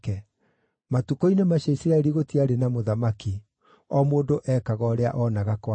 Matukũ-inĩ macio Isiraeli gũtiarĩ na mũthamaki; o mũndũ ekaga ũrĩa oonaga kwagĩrĩire.